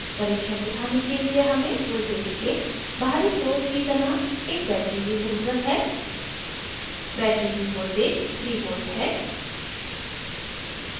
परीक्षण दिखाने के लिए हमें voltage के बाहरी स्रोत की तरह एक battery की ज़रूरत है battery की voltage 3v है